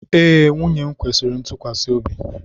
Ee, nwunye m kwesịrị ntụkwasị obi.